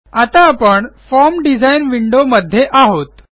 आता आपण form design विंडोमध्ये आहोत